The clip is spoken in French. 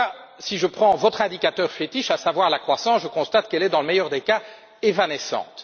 En tout cas, si je prends votre indicateur fétiche, à savoir la croissance, je constate qu'elle est, dans le meilleur des cas, évanescente.